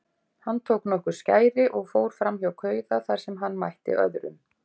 Hann tók nokkur skæri og fór framhjá kauða þar sem hann mætti öðrum.